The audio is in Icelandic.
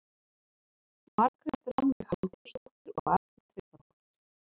Margrét Rannveig Halldórsdóttir og Arna Tryggvadóttir.